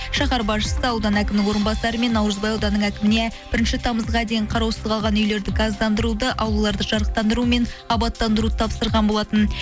шахар басшысы аудан әкімнің орынбасары мен наурызбай ауданының әкіміне бірінші тамызға дейін қараусыз қалған үйлерді газдандыруды аулаларды жарықтандыру мен абаттандыруды тапсырған болатын